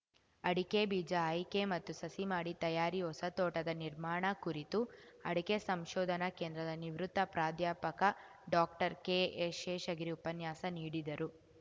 ಅಡಕೆಬೀಜ ಆಯ್ಕೆ ಮತ್ತು ಸಸಿಮಾಡಿ ತಯಾರಿ ಹೊಸತೋಟದ ನಿರ್ಮಾಣ ಕುರಿತು ಅಡಕೆ ಸಂಶೋಧನಾ ಕೇಂದ್ರದ ನಿವೃತ್ತ ಪ್ರಾಧ್ಯಾಪಕ ಡಾಕ್ಟರ್ಕೆಎಸ್‌ಶೇಷಗಿರಿ ಉಪನ್ಯಾಸ ನೀಡಿದರು